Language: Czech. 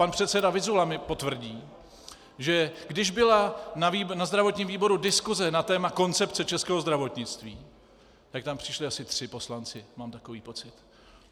Pan předseda Vyzula mi potvrdí, že když byla na zdravotním výboru diskuse na téma koncepce českého zdravotnictví, tak tam přišli asi tři poslanci, mám takový pocit.